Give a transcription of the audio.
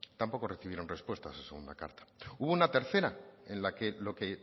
tampoco recibieron respuesta a esa segunda carta hubo una tercera en la que lo que